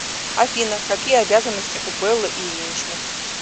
афина какие обязанности у беллы ильиничны